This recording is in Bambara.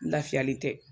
N lafiyalen tɛ